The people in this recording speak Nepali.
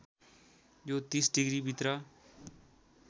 यो ३० डिग्रीभित्र